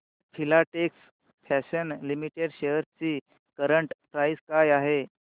Filatex Fashions Limited shares ची current price काय आहे